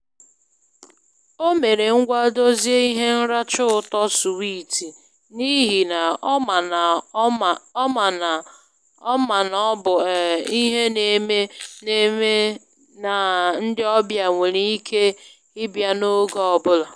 O mere ngwa dozie ihe nracha ụtọ suwiti n'ihi na ọ ma na ọ ma na ọ bụ um ihe na-eme eme na ndị ọbịa nwéré ike ịbịa n'oge ọ bụla.